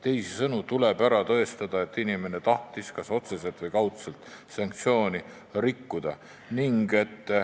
Teisisõnu tuleb ära tõestada, et inimene tahtis kas otseselt või kaudselt sanktsiooni rikkuda.